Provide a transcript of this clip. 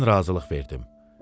Mən razılıq verdim.